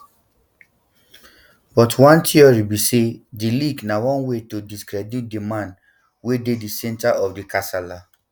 but one theory theory be say di leak na one way to discredit di man wey dey di centre of di kasala